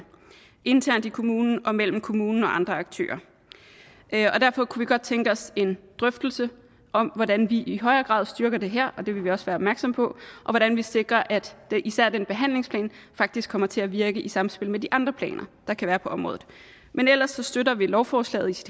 internt i kommunen og mellem kommunen og andre aktører derfor kunne vi godt tænke os en drøftelse af hvordan vi i højere grad styrker det her og det vil vi også være opmærksomme på og hvordan vi sikrer at især behandlingsplanen faktisk kommer til at virke i samspillet med de andre planer der kan være på området men ellers støtter vi lovforslaget i